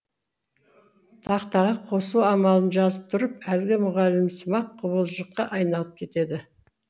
тақтаға қосу амалын жазып тұрып әлгі мұғалімсымақ құбыжыққа айналып кетеді